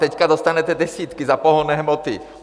Teď dostanete desítky za pohonné hmoty.